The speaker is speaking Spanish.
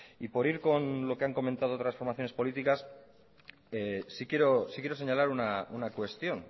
y por ir con lo que han comentado otras formaciones políticas sí quiero señalar una cuestión